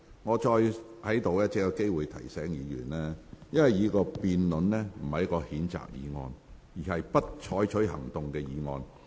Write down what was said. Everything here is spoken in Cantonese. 我再次提醒議員，本會現在要辯論的不是譴責議案，而是"不採取行動"的議案。